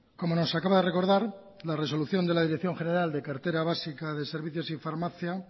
como nos acaba de recordad la resolución de la dirección general de la cartera básica de servicios y farmacia